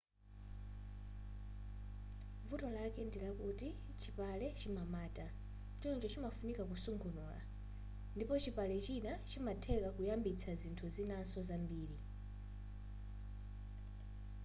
vuto ndilakuti chipale chimamata choncho chimafunika kusungunura ndipo chipale china chimatheka kuyambitsa zinthu zinanso zambiri